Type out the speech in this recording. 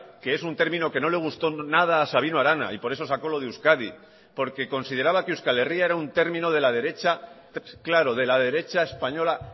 que es un término que no le gustó nada a sabino arana y por eso sacó lo de euskadi porque consideraba que euskal herria era un término de la derecha claro de la derecha española